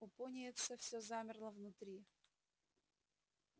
у пониетса все замерло внутри